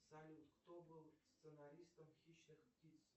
салют кто был сценаристом хищных птиц